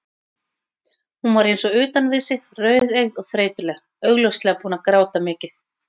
Hún var eins og utan við sig, rauðeygð og þreytuleg, augljóslega búin að gráta mikið.